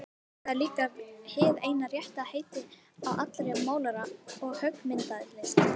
Því var síðastliðið háskólaár nokkur gangskör gerð að undirbúningi nýrrar háskólabyggingar.